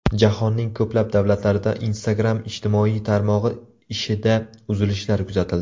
Jahonning ko‘plab davlatlarida Instagram ijtimoiy tarmog‘i ishida uzilishlar kuzatildi.